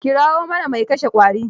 Kirawo mana mai kashe ƙwarin.